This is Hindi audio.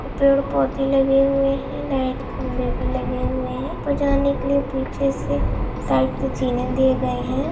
पेड़ पौधे लगे हुए हैं लाइट खंभे भी लगे हुए हैं ऊपर जाने के लिए पीछे से दिए गए है ।